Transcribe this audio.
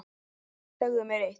Segðu mér eitt.